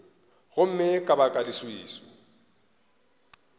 gomme ka baka la leswiswi